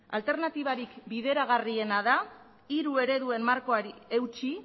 alternatibarik bideragarriena da hiru ereduen markoari eutsi